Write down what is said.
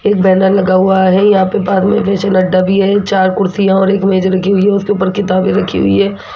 एक बैनर लगा हुआ है यहां पे बाद में फिसल अड्डा भी है चार कुर्सी और एक मेज रखी हुई है उसके ऊपर किताबें रखी हुई हैं।